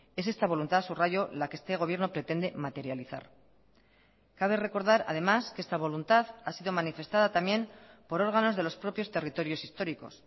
es esta voluntad subrayo la que este gobierno pretende materializar cabe recordar además que esta voluntad ha sido manifestada también por órganos de los propios territorios históricos